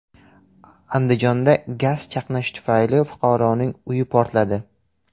Andijonda gaz chaqnashi tufayli fuqaroning uyi portladi.